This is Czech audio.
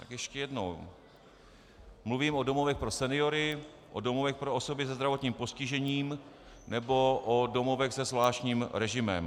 Tak ještě jednou - mluvím o domovech pro seniory, o domovech pro osoby se zdravotním postižením nebo o domovech se zvláštním režimem.